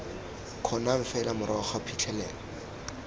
kgonang fela morago ga phitlhelelo